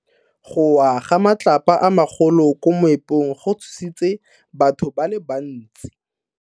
Go wa ga matlapa a magolo ko moepong go tshositse batho ba le bantsi.